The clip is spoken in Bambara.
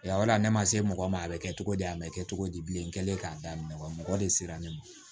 ne ma se mɔgɔ ma a bɛ kɛ cogo di a bɛ kɛ cogo di bilen n kɛlen k'a daminɛ wa mɔgɔ de sera ne ma